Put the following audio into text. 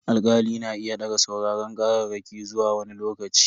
Alkali na iya daga sauraron kararraki zuwa wani lokaci.